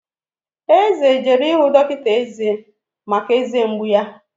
Eze jere ịhụ dọkịta eze maka eze mgbu ya